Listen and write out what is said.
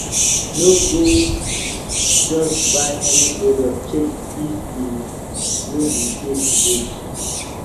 no go just buy any product check if e no be fake goods